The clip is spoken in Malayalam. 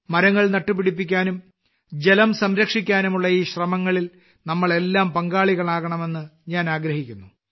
മരങ്ങൾ നട്ടുപിടിപ്പിക്കാനും ജലം സംരക്ഷിക്കാനുമുള്ള ഈ ശ്രമങ്ങളിൽ നമ്മളെല്ലാം പങ്കാളികളാകണമെന്ന് ഞാൻ ആഗ്രഹിക്കുന്നു